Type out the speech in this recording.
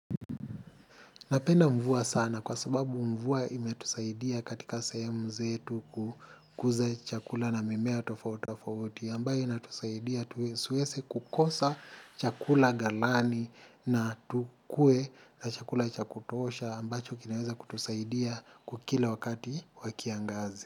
Napenda mvua sana kwa sababu mvua imetusaidia katika sehemu zetu kukuza chakula na mimea tofauti tofauti ambayo inatusaidia siwezi kukosa chakula galani na tukue na chakula cha kutosha ambacho kinaweza kutusaidia kwa kila wakati wa kiangazi.